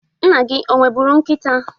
Nna gi o nwebụru nkịta?